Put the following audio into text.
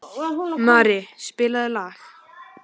Mari, spilaðu lag.